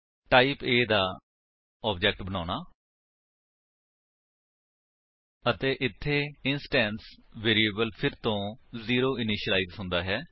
type A ਦਾ object ਬਣਾਉਣਾ ਅਤੇ ਇੱਥੇ ਇੰਸਟੈਂਸ ਵੇਰਿਏਬਲ ਫਿਰ ਤੋ 0 ਇਨਿਸ਼ਿਲਾਇਜ ਹੁੰਦਾ ਹੈ